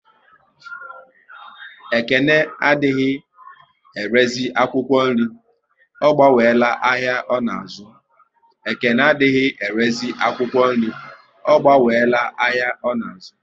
Ekene adịghị erezi akwụkwọ nri, ọ gbanwela ahịa ọ na azu